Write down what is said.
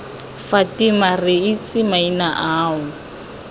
fatima re itse maina ao